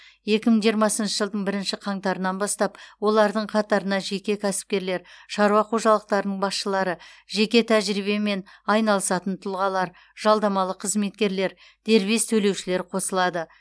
екі мың жиырмасыншы жылдың бірінші қаңтарынан бастап олардың қатарына жеке кәсіпкерлер шаруа қожалықтарының басшылары жеке тәжірибемен айналысатын тұлғалар жалдамалы қызметкерлер дербес төлеушілер қосылады